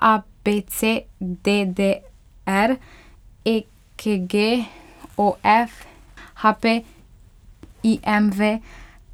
A B C; D D R; E K G; O F; H P; I M V;